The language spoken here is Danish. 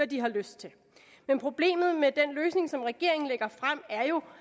de har lyst til men problemet med den løsning som regeringen lægger frem er jo